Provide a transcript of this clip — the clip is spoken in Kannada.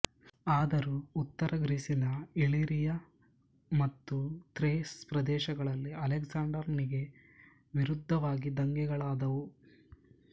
ಆದರೂ ಉತ್ತರ ಗ್ರೀಸಿನ ಇಲಿರಿಯ ಮತ್ತು ಥ್ರೇಸ್ ಪ್ರದೇಶಗಳಲ್ಲಿ ಅಲೆಕ್ಸಾಂಡರನಿಗೆ ವಿರುದ್ಧವಾಗಿ ದಂಗೆಗಳಾದುವು